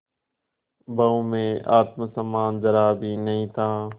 बहू में आत्म सम्मान जरा भी नहीं था